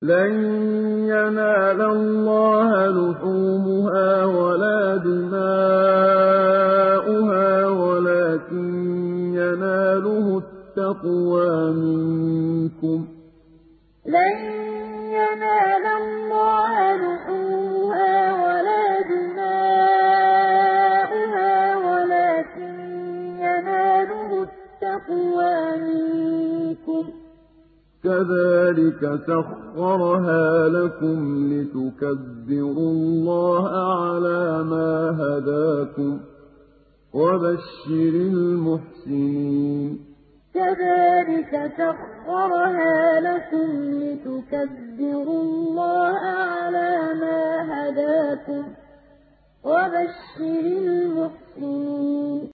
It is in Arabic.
لَن يَنَالَ اللَّهَ لُحُومُهَا وَلَا دِمَاؤُهَا وَلَٰكِن يَنَالُهُ التَّقْوَىٰ مِنكُمْ ۚ كَذَٰلِكَ سَخَّرَهَا لَكُمْ لِتُكَبِّرُوا اللَّهَ عَلَىٰ مَا هَدَاكُمْ ۗ وَبَشِّرِ الْمُحْسِنِينَ لَن يَنَالَ اللَّهَ لُحُومُهَا وَلَا دِمَاؤُهَا وَلَٰكِن يَنَالُهُ التَّقْوَىٰ مِنكُمْ ۚ كَذَٰلِكَ سَخَّرَهَا لَكُمْ لِتُكَبِّرُوا اللَّهَ عَلَىٰ مَا هَدَاكُمْ ۗ وَبَشِّرِ الْمُحْسِنِينَ